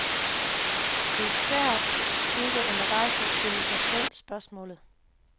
Det er svært ikke undervejs at stille sig selv spørgsmålet.